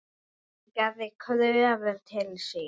Hún gerði kröfur til sín.